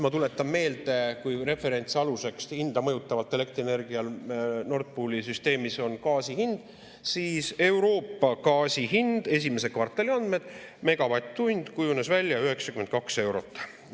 Ma tuletan meelde, kui referentsaluseks hinda mõjutaval elektrienergial Nord Pooli süsteemis on gaasi hind, siis Euroopa gaasi hind – esimese kvartali andmed – kujunes välja 92 eurot megavatt-tund.